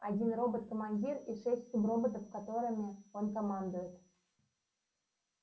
один робот командир и шесть суброботов которыми он командует